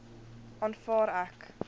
aanvaar ek